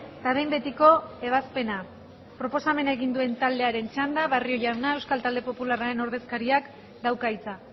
eta behin betiko ebazpena proposamena egin duen taldearen txanda barrio jauna euskal talde popularraren ordezkariak dauka hitza